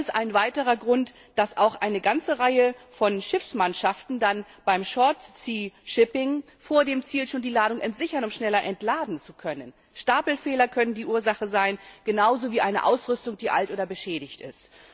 Dann ist ein weiterer Grund, dass auch eine ganze Reihe von Schiffsmannschaften beim Kurzstreckenseeverkehr vor dem Ziel schon die Ladung entsichern, um schneller entladen zu können. Stapelfehler können die Ursache sein, genauso wie eine Ausrüstung, die alt oder beschädigt ist.